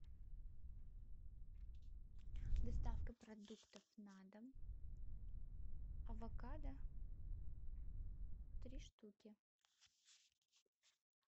доставка продуктов на дом авокадо три штуки